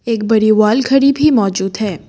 एक बड़ी वाल घड़ी भी मौजूद है।